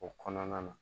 O kɔnɔna na